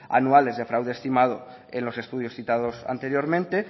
anuales de fraude estimado en los estudios citados anteriormente